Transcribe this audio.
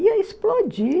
ia explodir.